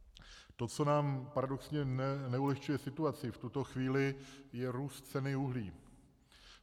To, co nám paradoxně neulehčuje situaci v tuto chvíli, je růst ceny uhlí.